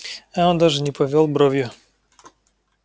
а он даже не повёл бровью